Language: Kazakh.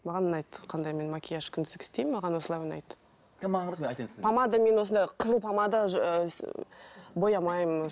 маған ұнайды қандай мен макияж күндізгі істеймін маған осылай ұнайды помада мен осындай қызыл помада боямаймын